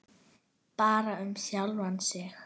Bara um sjálfan sig.